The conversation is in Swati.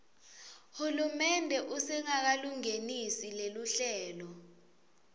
hulumende usengakalungenisi loluhlelo